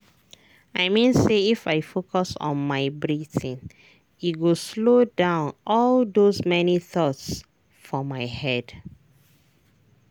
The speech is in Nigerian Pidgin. i mean say if i focus on my breathing e go slow down all those many thoughts for my head.